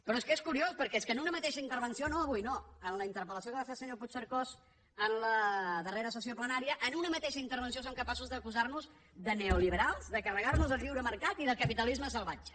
però és que és curiós perquè és que en una mateixa intervenció no avui no en la interpel·lació que va fer el senyor puigcercós en la darrera sessió plenària en una mateixa intervenció són capaços d’acusar nos de neoliberals de carregar nos el lliure mercat i de capitalisme salvatge